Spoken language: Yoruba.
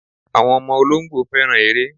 Àwọn ọmọ olóńgbò fẹ́ràn eré.